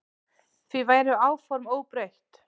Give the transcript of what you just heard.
Því væru áform óbreytt.